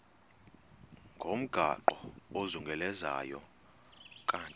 ngomgaqo ozungulezayo ukanti